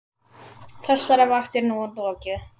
Þessari vakt er nú lokið.